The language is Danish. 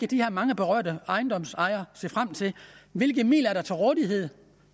de her mange berørte ejendomsejere se frem til hvilke midler er der til rådighed